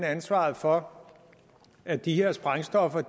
ansvaret for at de her sprængstoffer